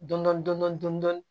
Dɔndɔn dɔn